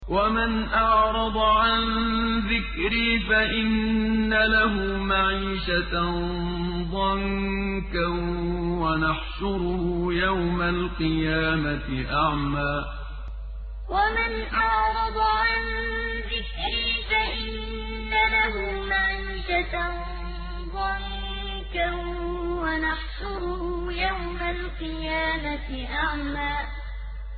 وَمَنْ أَعْرَضَ عَن ذِكْرِي فَإِنَّ لَهُ مَعِيشَةً ضَنكًا وَنَحْشُرُهُ يَوْمَ الْقِيَامَةِ أَعْمَىٰ وَمَنْ أَعْرَضَ عَن ذِكْرِي فَإِنَّ لَهُ مَعِيشَةً ضَنكًا وَنَحْشُرُهُ يَوْمَ الْقِيَامَةِ أَعْمَىٰ